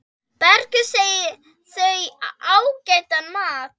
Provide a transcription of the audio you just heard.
Bergur segir þau ágætan mat.